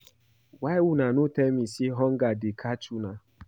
Why una no tell me say hunger dey catch una